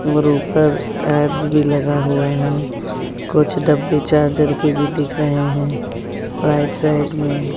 और ऊपर ऐड भी लगा हुआ है कुछ डब्बे चार्जर की भी दिख रहे हैं। राइट साइड में--